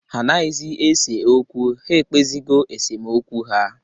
Ha anaghịzị ese okwu. Ha ekpezigo esemokwu ha